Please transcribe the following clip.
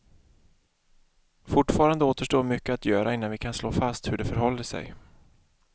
Fortfarande återstår mycket att göra innan vi kan slå fast hur det förhåller sig.